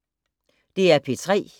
DR P3